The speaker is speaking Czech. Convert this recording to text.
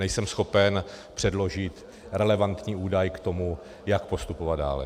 Nejsem schopen předložit relevantní údaj k tomu, jak postupovat dále.